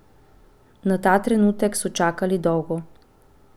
Na ta trenutek so čakali dolgo.